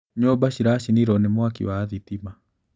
Nyũmba ciracinirwo nĩ mwaki wa thitima.